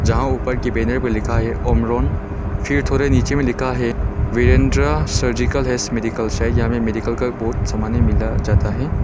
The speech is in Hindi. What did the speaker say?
जहां ऊपर के बैनर में लिखा है अमरान फिर थोड़े नीचे में लिखा है वीरेंद्रा सर्जिकल एंड मेडिकल शायद यहां में मेडिकल का बहुत समाने मिला जाता है।